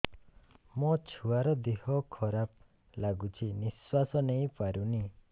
ମୋ ଛୁଆର ଦିହ ଖରାପ ଲାଗୁଚି ନିଃଶ୍ବାସ ନେଇ ପାରୁନି